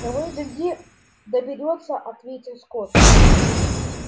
того и гляди доберётся ответил скотт